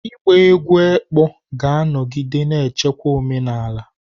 Ịgba egwú ekpo ga-anọgide na-echekwa omenala.